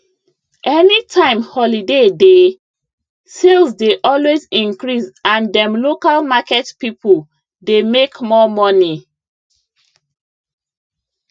any time holiday dey sales dey always increase and dem local market people dey make more money